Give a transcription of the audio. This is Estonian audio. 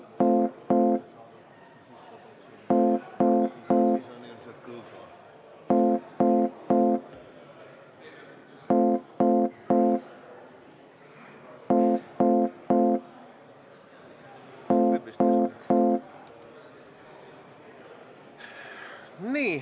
Istungi lõpp kell 19.55.